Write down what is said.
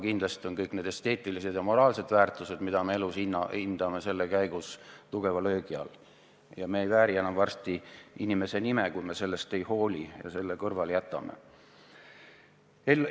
Kindlasti on kõik esteetilised ja moraalsed väärtused, mida me elus hindame, sattunud tugeva löögi alla ja me ei vääri enam varsti inimese nime, kui me sellest ei hooli ja selle tähelepanu alt kõrvale jätame.